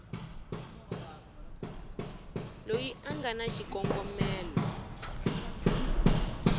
loyi a nga na xikongomelo